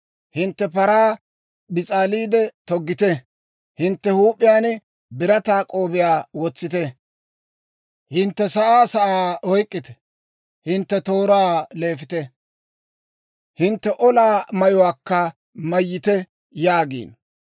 Hintte paraa bis'aaliide toggite; hintte huup'iyaan birataa k'oobiyaa wotsiide, hintte sa'aa sa'aa oyk'k'ite! Hintte tooraa leefite; hintte olaa mayuwaakka mayyite! yaagiino.